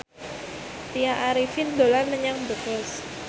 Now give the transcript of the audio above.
Tya Arifin dolan menyang Brebes